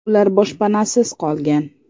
Ular boshpanasiz qolgan.